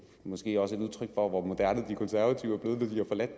måske også et udtryk for hvor moderne de konservative